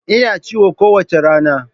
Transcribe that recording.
Ina ci kowace rana.